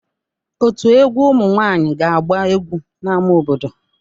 Ọtú egwu ụmụ nwanyị ga-agba egwu n'ámá obodo.